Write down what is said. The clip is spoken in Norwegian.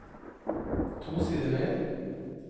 To sider ned